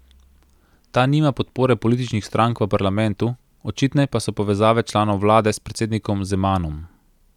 Ta nima podpore političnih strank v parlamentu, očitne pa so povezave članov vlade s predsednikom Zemanom.